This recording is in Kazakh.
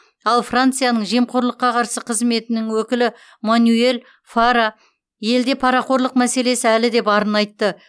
ал францияның жемқорлыққа қарсы қызметінің өкілі манюэль фара елде парақорлық мәселесі әлі де барын айтты